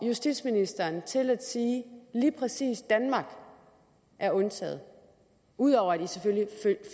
justitsministeren til at sige at lige præcis danmark er undtaget ud over at i selvfølgelig